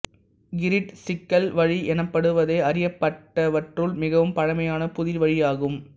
கிரீட்டுச் சிக்கல் வழி எனப்படுவதே அறியப்பட்டவற்றுள் மிகவும் பழமையான புதிர்வழி ஆகும்